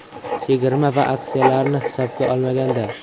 Chegirma va aksiyalarni hisobga olmaganda.